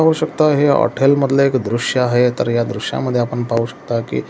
पाहू शकता हे हॉटेल मधलं हे दृश्य आहे तर या दृश्यामध्ये आपण पाहू शकता की--